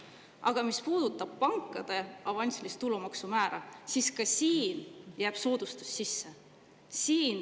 Aga mis puudutab pankade avansilise tulumaksu määra, siis ka siin jääb soodustus sisse.